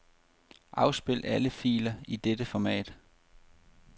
Afspil alle filer i dette format.